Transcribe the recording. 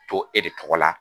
To e de tɔgɔ la.